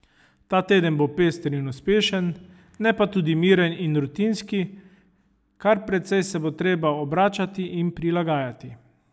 Ta teden bo pester in uspešen, ne pa tudi miren in rutinski, kar precej se bo treba obračati in prilagajati.